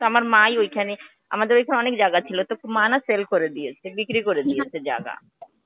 তা, আমার মা ই ঐখানে, আমাদের বাড়িতে অনেক জায়গা ছিলো তো মা না sell করে দিয়েছে. বিক্রি করে দিয়েছে জায়গা.